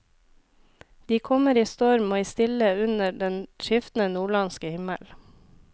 De kommer i storm og i stille under den skiftende nordlandske himmel.